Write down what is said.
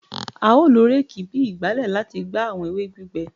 A o lo réèkì bi ìgbálẹ lati gba awọn ewe gbigbẹ